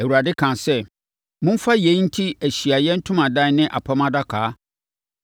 Awurade kaa sɛ, momfa yei nte Ahyiaeɛ Ntomadan ne Apam Adaka,